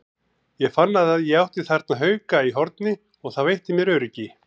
Ég fann að ég átti þarna hauka í horni og það veitti mér öryggi.